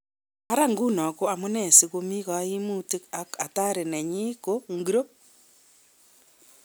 Ara nguno ko amu nee si ko mikaimutik ak athari nenyi ko ngoro?